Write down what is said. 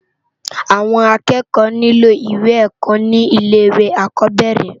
Awòn ákèékò nilò iwé èkò ni ilè iwé ákòbèrè